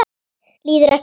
Líður ekki vel.